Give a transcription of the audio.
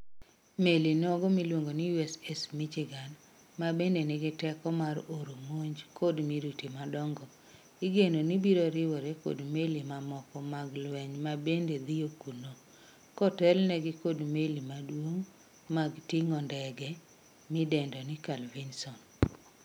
Meli nogo miluongo ni USS Michigan, ma bende nigi teko mar oro monj kod miruti madongo, igeno ni biroriwore kod meli mamoko mag lweny mabende dhiyo kuno, kotelnegi kod meli maduong mag ting'o ndege midendo ni Carl Vinson